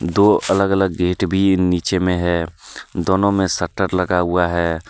दो अलग अलग गेट भी नीचे में है दोनों में शटर लगा हुआ है।